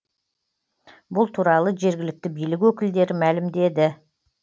бұл туралы жергілікті билік өкілдері мәлімдеді